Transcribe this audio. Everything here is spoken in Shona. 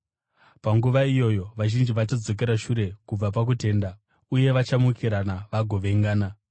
Panguva iyoyo vazhinji vachadzokera shure kubva pakutenda uye vachamukirana vagovengana,